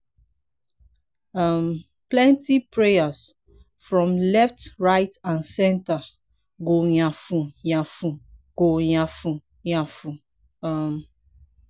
um plenti prayers from left right and center go yafun yafun go yafun yafun um